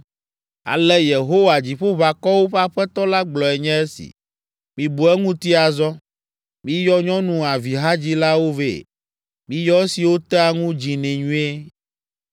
Ale Yehowa, Dziƒoʋakɔwo ƒe Aƒetɔ la gblɔe nye esi: “Mibu eŋuti azɔ! Miyɔ nyɔnu avihadzilawo vɛ. Miyɔ esiwo tea ŋu dzinɛ nyuie.